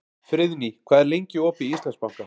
Friðný, hvað er lengi opið í Íslandsbanka?